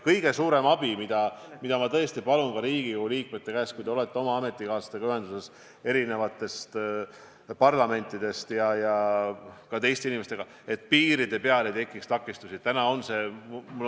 Kõige suurem abi, mida ma Riigikogu liikmetelt palun, on see, et kui te olete ühenduses oma ametikaaslastega teiste riikide parlamentidest ja ka teiste inimestega, siis pöörake tähelepanu sellele, et piiride peal ei tekiks takistusi.